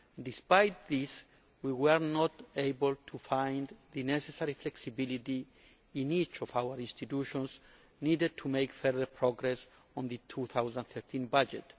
Despite this, we were not able to find the necessary flexibility in each of our institutions needed to make further progress on the 2013 budget.